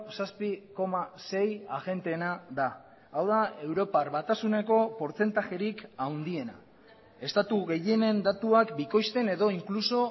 zazpi koma sei agenteena da hau da europar batasuneko portzentajerik handiena estatu gehienen datuak bikoizten edo inkluso